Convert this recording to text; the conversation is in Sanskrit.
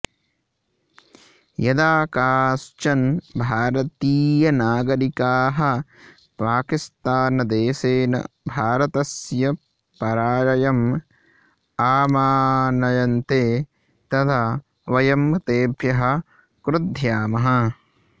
यदा काश्चन् भारतीयनागरिकाः पाकिस्तानदेशेन भारतस्य पराजयम् आमानयन्ते तदा वयं तेभ्यः क्रुध्यामः